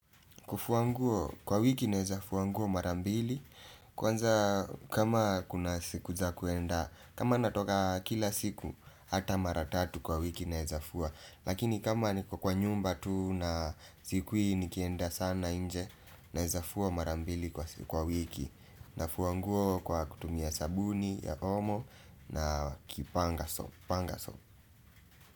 Kufua nguo, kwa wiki naeza fua nguo mara mbili. Kwanza kama kuna siku za kuenda kama natoka kila siku, hata mara tatu kwa wiki naeza fua lakini kama niko kwa nyumba tu na sikui nikienda sana nje naeza fua mara mbili kwa wiki. Nafua nguo kwa kutumia sabuni ya omo na kipanga so.